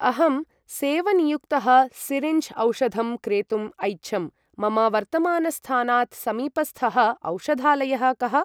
अहं सेवनीयुक्तः सिरिञ्ज् औषधं क्रेतुम् ऐच्छम्, मम वर्तमानस्थानात् समीपस्थः औषधालयः कः?